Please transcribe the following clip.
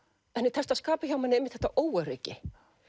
henni tekst að skapa hjá manni einmitt þetta óöryggi